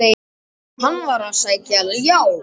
Hann var að sækja ljá.